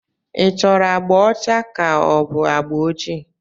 Ị chọrọ agbà ọcha ka ọ bụ agba ojii?